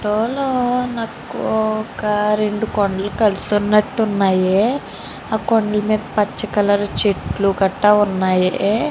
ఈ మనకి రెండు కొండలు కలిసినట్టు కనిపిస్తున్నాయి. ఆ కొండమీద పచ్చ కలర్ చెట్లు గట్రా ఉన్నాయి.